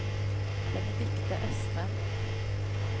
Benedikte Østrem